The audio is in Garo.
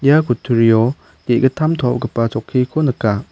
ia kutturio ge·gittam to·opgipa chokkiko nika.